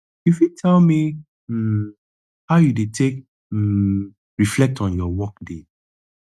you fit tell me um how you dey take um reflect on your workday